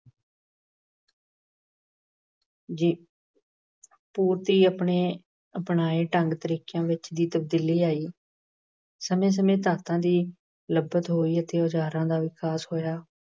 ਜੀ ਅਹ ਪੂਰਤੀ ਆਪਣੇ ਅਪਣਾਏ ਢੰਗ ਤਰੀਕਿਆਂ ਵਿੱਚ ਵੀ ਤਬਦੀਲੀ ਲਿਆਈ। ਸਮੇਂ ਸਮੇਂ ਧਾਤਾਂ ਦੀ ਲੱਭਤ ਹੋਈ ਅਤੇ ਔਜਾਰਾਂ ਦਾ ਵਿਕਾਸ ਹੋਇਆ।